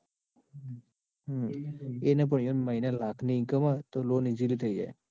એને પણ ઇઓને પણ મહિને લાખ નિ income હોય ને તો loan થઇ જાય.